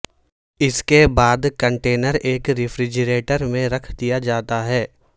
اس کے بعد کنٹینر ایک ریفریجریٹر میں رکھ دیا جاتا ہے